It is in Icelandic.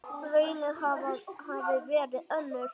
Raunin hafi verið önnur.